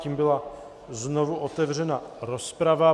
Tím byla znovu otevřena rozprava.